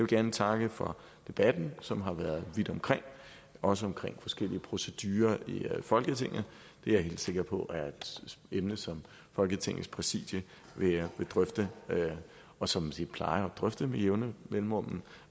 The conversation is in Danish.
gerne takke for debatten som har været vidt omkring også omkring forskellige procedurer i folketinget det er jeg helt sikker på er et emne som folketingets præsidium vil drøfte og som de plejer at drøfte med jævne mellemrum